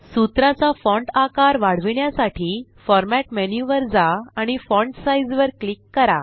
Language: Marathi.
सूत्रा चा फॉण्ट आकार वाढविण्यासाठी फॉर्मॅट मेन्यू वर जा आणि फॉन्ट साइझ वर क्लिक करा